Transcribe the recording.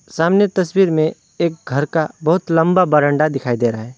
सामने तस्वीर में एक घर का बहुत लंबा बरामदा दिखाई दे रहा है।